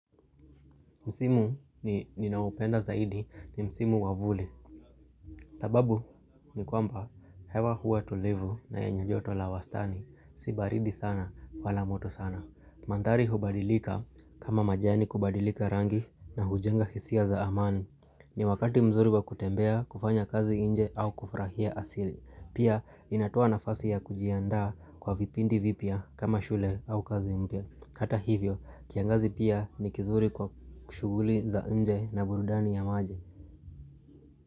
Msimu ninaopenda zaidi ni msimu wa vuli sababu ni kwamba hewa huwa tulivu na yenye joto la wastani. Si baridi sana wala moto sana. Mandhari hubadilika kama majani kubadilika rangi na hujenga hisia za amani ni wakati mzuri wa kutembea kufanya kazi nje au kufurahia asili. Pia inatoa nafasi ya kujiandaa kwa vipindi vipya kama shule au kazi mpya. Hata hivyo, kiangazi pia ni kizuri kwa shughuli za nje na burudani ya maji.